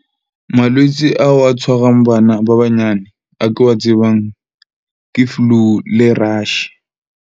Malwetse ao a tshwarang bana ba banyane a ke wa tsebang, ke flu le rash.